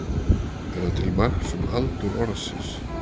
Er það til marks um aldur orðsins.